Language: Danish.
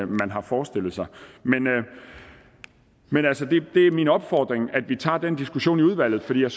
man har forestillet sig men altså det er min opfordring at vi tager den diskussion i udvalget for jeg